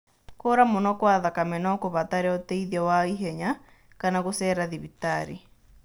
Kuura mũno kwa thakame no kũbatare ũteithio wa ihenya kana gũcera thibitarĩ.